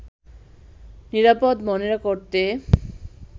নিরাপদ মনে করতে